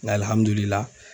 Nga